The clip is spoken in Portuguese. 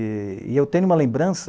E e eu tenho uma lembrança,